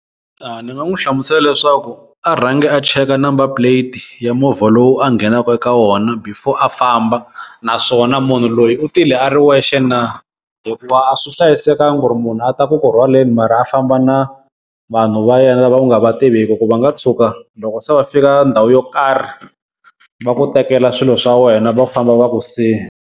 A ni nga n'wu hlamusela leswaku a rhangi a cheka number plate ya movha lowu a nghenaku eka wona before a famba, naswona munhu loyi u tile a ri wexe na hikuva a swi hlayisekangi ku ri munhu a ta ku ku rhwaleni mara a famba na vanhu va yena lava u nga va tiveki ku va nga tshuka loko se va fika ka ndhawu yo karhi va ku tekela swilo swa wena va famba va ku siya.